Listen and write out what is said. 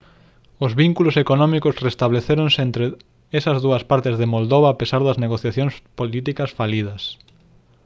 os vínculos económicos restablecéronse entre esas dúas partes de moldova a pesar das negociacións políticas falidas